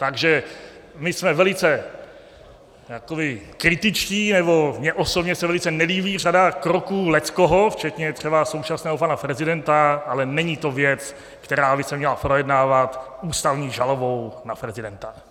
Takže my jsme velice kritičtí, nebo mně osobně se velice nelíbí řada kroků leckoho, včetně třeba současného pana prezidenta, ale není to věc, která by se měla projednávat ústavní žalobou na prezidenta.